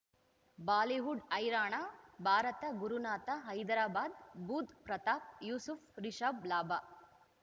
Bollywood ಹೈರಾಣ ಭಾರತ ಗುರುನಾಥ ಹೈದರಾಬಾದ್ ಬುಧ್ ಪ್ರತಾಪ್ ಯೂಸುಫ್ ರಿಷಬ್ ಲಾಭ